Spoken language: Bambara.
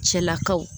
Cɛlakaw